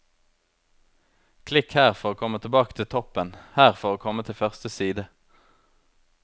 Klikk her for å komme tilbake til toppen, her for å komme til første side.